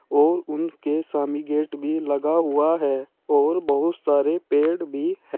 और उनके सामी गेट भी लगा हुआ है और बहुत सारे पेड़ भी है।